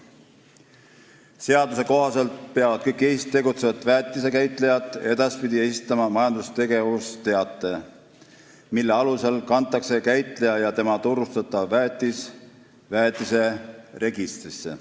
Seaduse kohaselt peavad kõik Eestis tegutsevad väetisekäitlejad edaspidi esitama majandustegevusteate, mille alusel kantakse käitleja ja tema turustatav väetis väetiseregistrisse.